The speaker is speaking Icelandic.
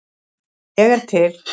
Ég er til